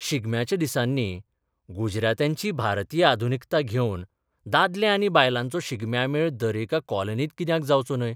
शिगम्याच्या दिसांनी, गुजरात्यांची भारतीय आधुनिकता घेवन, दादले आनी बायलांचो शिगम्या मेळ दरेका कॉलनींत कित्याक जावचो न्हय?